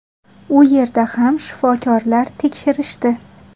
U yerda ham shifokorlar tekshirishdi.